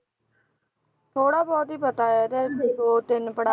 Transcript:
ਥੋੜ੍ਹਾ ਬਹੁਤ ਹੀ ਪਤਾ ਹੈ ਇਹਦੇ ਵੀ ਦੋ ਤਿੰਨ ਪੜ੍ਹਾ~